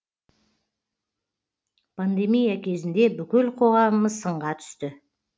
пандемия кезінде бүкіл қоғамымыз сынға түсті